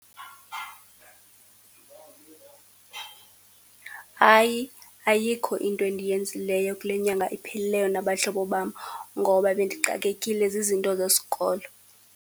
Hayi ayikho into endiyenzileyo kule nyanga iphelileyo nabahlobo bam, ngoba bendixakekile zizinto zesikolo.